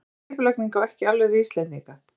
Svona skipulagning á ekki alveg við Íslendinga.